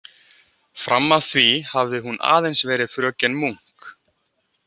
Fram að því hafði hún aðeins verið fröken Munk.